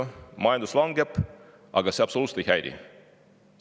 Kui majandus langeb, siis see neid absoluutselt ei häiri.